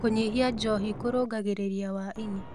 Kũnyĩhĩa njohĩ kũrũnagĩrĩrĩa wa ĩnĩ